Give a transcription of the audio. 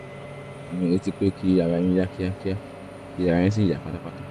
à ń retí pé kí ara yín yá kíákíá kí ara yín sì yá pátápátá